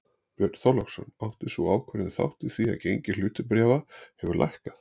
Björn Þorláksson: Átti sú ákvörðun þátt í því að gengi hlutabréfa hefur lækkað?